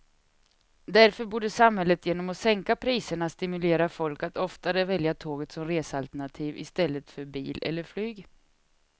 Därför borde samhället genom att sänka priserna stimulera folk att oftare välja tåget som resealternativ i stället för bil eller flyg.